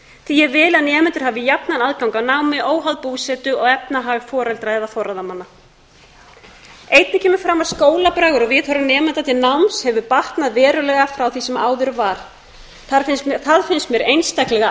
því ég vil að nemendur hafi jafnan aðgang að námi óháð búsetu og efnahag foreldra eða forráðamanna einnig kemur fram að skólabragur og viðhorf nemenda til náms hefur batnað verulega frá því sem áður var það finnst mér einstaklega